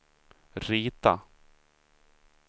rita